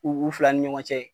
U fila ni ɲɔgɔn cɛ yen..